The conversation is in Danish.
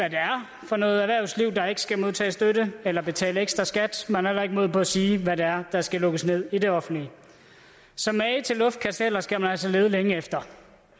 er for noget erhvervsliv der ikke skal modtage støtte eller betale ekstra skat man har heller ikke mod på at sige hvad det er der skal lukkes ned i det offentlige så mage til luftkasteller skal man altså lede længe efter